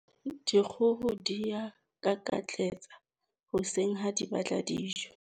Dikgoho di a kakatletsa hoseng ha di batla dijo.